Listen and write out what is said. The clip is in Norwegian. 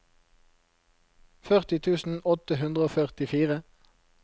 førti tusen åtte hundre og førtifire